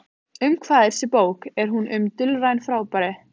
Um hvað er þessi bók, er hún um dulræn fyrirbæri?